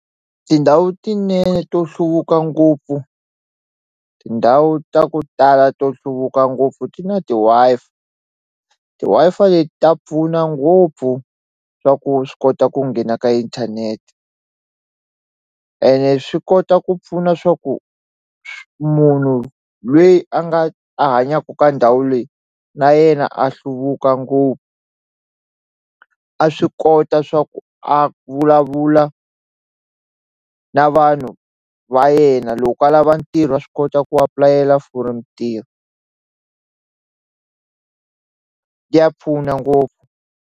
Tindhawu tinene to hluvuka ngopfu tindhawu ta ku tala to hluvuka ngopfu ti na ti-Wi-Fi ti-Wi-Fi leti ta pfuna ngopfu swa ku swi kota ku nghena ka inthanete ene swi kota ku pfuna swa ku munhu lweyi a nga a hanyaku ka ndhawu leyi na yena a hluvuka ngopfu a swi kota swa ku a vulavula na vanhu va yena loko a lava ntirho wa swi kota ku apulayela for mintirho ya pfuna ngopfu.